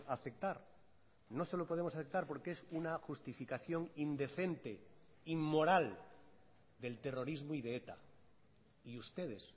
aceptar no se lo podemos aceptar porque es una justificación indecente inmoral del terrorismo y de eta y ustedes